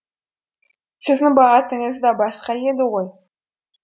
сіздің бағытыңыз да басқа еді ғой